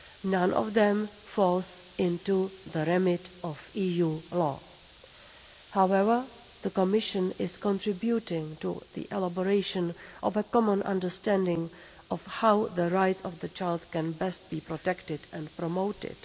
None of them fall into the remit of EU law. However, the Commission is contributing to the elaboration of a common understanding of how the rights of the child can best be protected and promoted.